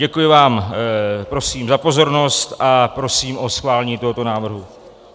Děkuji vám prosím za pozornost a prosím o schválení tohoto návrhu.